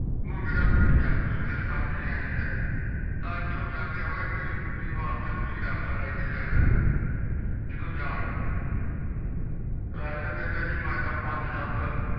ਉਹ ਜਿਹੜਾ ਤੁਸੀਂ ਜਾਗ ਸਮੇਤ ਕਰਕੇ ਆਏ ਆ ਤਾ ਇਥੋਂ ਜਾਂਦੇ ਹੋਏ ਫੇਰ ਤੁਸੀਂ ਕੁੱਤੀ ਵਾਸਤੇ ਤੁਸੀਂ ਰਾਸ਼ਨ ਲੈਕੇ ਜਾਣਾ ਏ ਜਿਦੋ ਜਾਨ ਲਗੇ ਰਾਜਾਂ ਕਹਿੰਦਾ ਏ ਜੀ ਮੈਂ ਤੇ ਪੰਜ ਸੱਤ